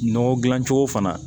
Nɔgɔ dilan cogo fana